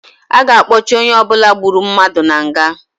A ga-akpọchị onye ọbụla gburu mmadụ na nga